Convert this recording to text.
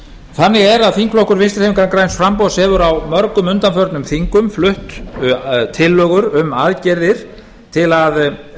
þannig er að þingflokkur vinstri hreyfingarinnar græns framboðs hefur á mörgum undanförnum þingum flutt tillögur um aðgerðir til að reyna